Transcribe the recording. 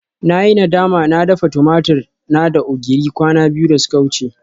Na yi nadama na dafa tumatur na da ogiri kwana biyu da suka wuce